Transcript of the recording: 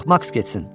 Yox, maks getsin.